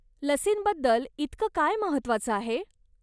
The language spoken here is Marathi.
लसींबद्दल इतकं काय महत्वाचं आहे?